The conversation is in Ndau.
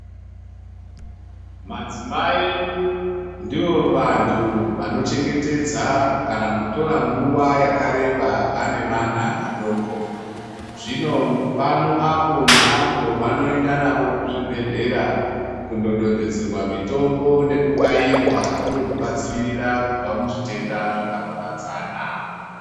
Madzimai ndivo vantu vanochengetedza kana kutorwa nguwa yakareba vane vana vadoko zvino pano apo neapo vanoenda navo kuzvibhedhleya kundododzerwa mitombo kubva kuzvitenda zvakaparadzana .